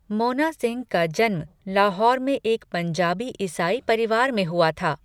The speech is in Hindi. मोना सिंह का जन्म लाहौर में एक पंजाबी ईसाई परिवार में हुआ था।